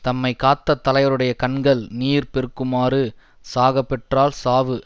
தம்மை காத்த தலைவருடைய கண்கள் நீர் பெருக்குமாறு சாகப் பெற்றால் சாவு